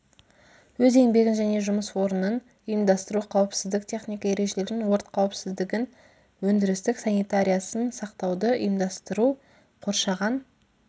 өз еңбегін және жұмыс орнын ұйымдастыру қауіпсіздік техника ережелерін өрт қауіпсіздігін өндірістік санитариясын сақтауды ұйымдастыру қоршаған